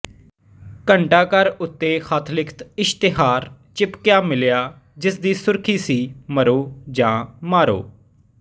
ਘੰਟਾ ਘਰ ਉੱਤੇ ਹੱਥ ਲਿਖਤ ਇਸ਼ਤਿਹਾਰ ਚਿਪਕਿਆ ਮਿਲਿਆ ਜਿਸ ਦੀ ਸੁਰਖ਼ੀ ਸੀ ਮਰੋ ਜਾਂ ਮਾਰੋ